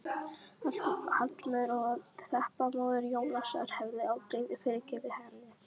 Hallmundur og Þeba, móðir Jónasar, hefðu aldrei fyrirgefið henni.